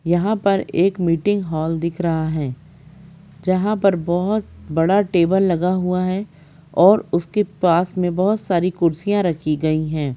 यहाँ पर एक मीटिंग हॉल दिख रहा हैं जहाँ पर बहोत बड़ा टेबल लगा हुआ हैं और उसके पास में बहोत सारी कुर्सिया रखी गयी हैं।